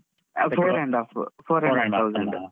ಆ Four and half